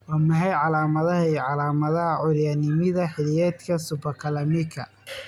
Waa maxay calaamadaha iyo calaamadaha curyaannimada xilliyeedka Hyperkalemicka?